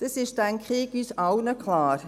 Ich denke, dies ist uns allen klar: